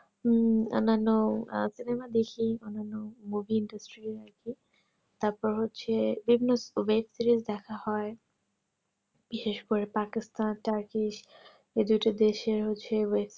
উম অন্য আন্ন আর cinema দেখি movie-industry তারপর হচ্ছে বিভিন্ন web-series দেখা হয় বিশেষ করে পাকিস্তান তুর্কি এই দুটো দেশের হচ্ছে